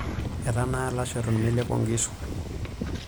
Etanaa lasho eton melepo nkishu.